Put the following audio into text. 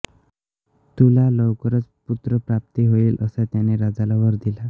तुला लवकरच पुत्रप्राप्ती होईल असा त्याने राजाला वर दिला